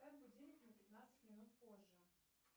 поставь будильник на пятнадцать минут позже